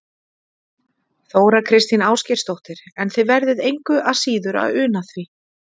Þóra Kristín Ásgeirsdóttir: En þið verðið engu að síður að una því?